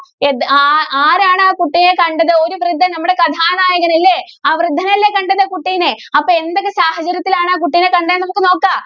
ഏത~ ആ~ ആരാണ് ആ കുട്ടിയെ കണ്ടത്? ഒരു വൃദ്ധന്‍, നമ്മുടെ കഥാനായകന്‍ അല്ലേ? ആ വൃദ്ധനല്ലേ കണ്ടത് കുട്ടീനെ. അപ്പോ എന്തൊക്കെ സാഹചര്യത്തിലാണ് ആ കുട്ടീനെ കണ്ടേ എന്ന് നമുക്ക് നോക്കാം.